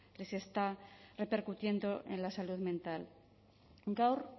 les está repercutiendo en la salud mental gaur